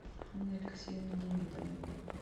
анны алексеевны демидовой